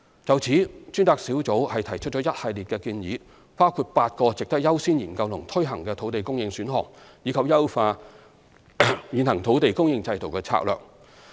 就此，專責小組提出一系列建議，包括8個值得優先研究及推行的土地供應選項，以及優化現行土地供應制度的策略。